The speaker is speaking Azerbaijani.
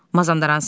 Mazandaranski.